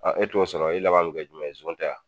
e t'o sɔrɔ i laban bi kɛ jumɛn ye zon tɛ wa ?